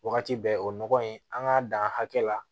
Wagati bɛɛ o nɔgɔ in an k'a dan hakɛ la